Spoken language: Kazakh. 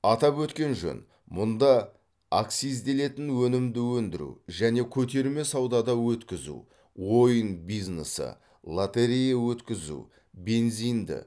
атап өткен жөн мұнда акцизделетін өнімді өндіру және көтерме саудада өткізу ойын бизнесі лотерея өткізу бензинді